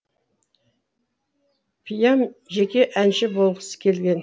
пиам жеке әнші болғысы келген